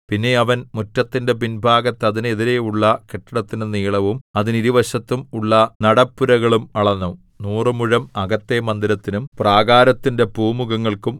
പിന്നെ അവൻ മുറ്റത്തിന്റെ പിൻഭാഗത്ത് അതിനെതിരെയുള്ള കെട്ടിടത്തിന്റെ നീളവും അതിന് ഇരുവശത്തും ഉള്ള നടപ്പുരകളും അളന്നു നൂറുമുഴം അകത്തെ മന്ദിരത്തിനും പ്രാകാരത്തിന്റെ പൂമുഖങ്ങൾക്കും